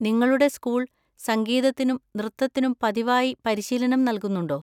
നിങ്ങളുടെ സ്കൂൾ സംഗീതത്തിനും നൃത്തത്തിനും പതിവായി പരിശീലനം നൽകുന്നുണ്ടോ?